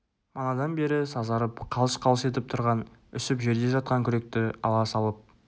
манадан бері сазарып қалш-қалш етіп тұрған үсіп жерде жатқан күректі ала салып